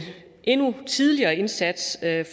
endnu tidligere indsats